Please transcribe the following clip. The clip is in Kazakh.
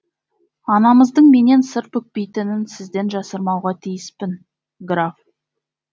анамыздың менен сыр бүкпейтінін сізден жасырмауға тиіспін граф